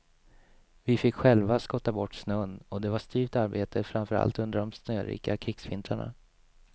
Vi fick själva skotta bort snön och det var styvt arbete framför allt under de snörika krigsvintrarna.